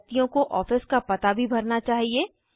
व्यक्तियों को ऑफिस का पता भी भरना चाहिए